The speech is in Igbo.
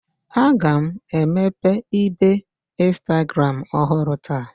Aga m emepe ibe Instagram ọhụrụ taa